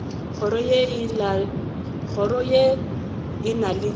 kgoro ye e na le